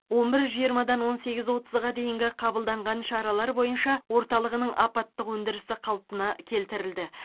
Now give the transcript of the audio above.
он бір жиырмадан он сегіз отызға дейінгі қабылданған шаралар бойынша орталығының апаттық өндірісі қалпына келтірілді